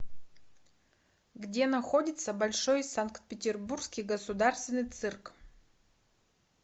где находится большой санкт петербургский государственный цирк